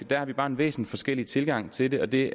der har vi bare en væsensforskellig tilgang til det og det